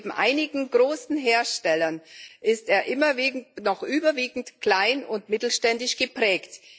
neben einigen großen Herstellern ist er noch überwiegend klein und mittelständisch geprägt.